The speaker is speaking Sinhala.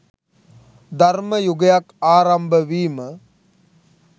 ධර්ම යුගයක් ආරම්භ වීම